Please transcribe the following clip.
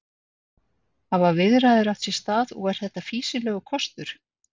Hafa viðræður átt sér stað og er þetta fýsilegur kostur?